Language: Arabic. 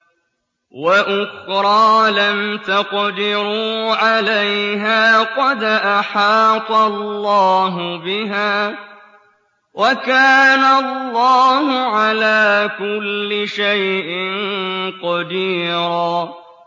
وَأُخْرَىٰ لَمْ تَقْدِرُوا عَلَيْهَا قَدْ أَحَاطَ اللَّهُ بِهَا ۚ وَكَانَ اللَّهُ عَلَىٰ كُلِّ شَيْءٍ قَدِيرًا